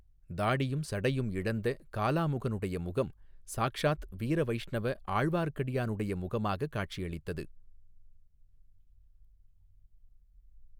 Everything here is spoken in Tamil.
தாடியும் சடையும் இழந்த காலாமுகனுடைய முகம் சாக்ஷாத் வீரவைஷ்ணவ ஆர்வார்க்கடியானுடைய முகமாக காட்சி அளித்தது.